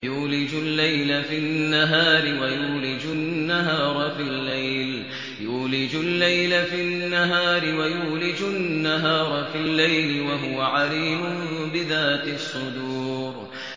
يُولِجُ اللَّيْلَ فِي النَّهَارِ وَيُولِجُ النَّهَارَ فِي اللَّيْلِ ۚ وَهُوَ عَلِيمٌ بِذَاتِ الصُّدُورِ